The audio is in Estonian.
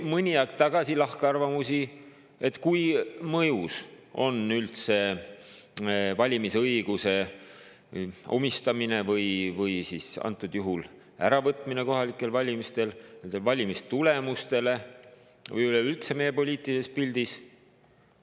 Mõni aeg tagasi oli lahkarvamusi selle kohta, kui palju mõjub üldse valimisõiguse või antud juhul selle äravõtmine kohalikel valimistel valimistulemustele või üleüldse meie poliitilisele pildile.